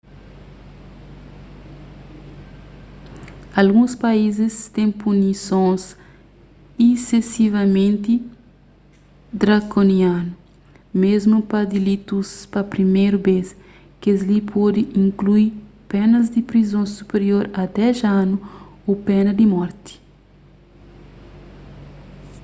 alguns país têm punisons isesivamenti drakonianu mésmu pa dilitus pa priméru bês kes-li pode inklui penas di prizon supirior a 10 anu ô pena di morti